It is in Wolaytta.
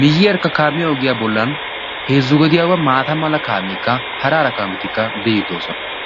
miyiyeerkka kaamiya ogiyaa bollan heezzu gediyaawaa maata mala kaameekka haraara kaametikka bi'iidi doosona.